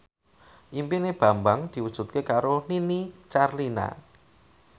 impine Bambang diwujudke karo Nini Carlina